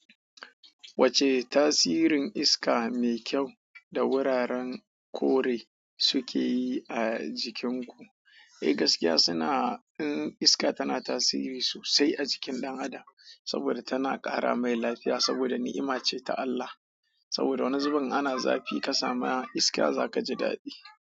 Wace tasirin iska mai kyau da wuraren kore suke yi a jikin ku? Eh gaskiya suna in iska tana tasiri sosai a jikin dan adan saboda niima ce daga Allah saboda wani zubin in ana zafi kasamu iska zakaji dadi.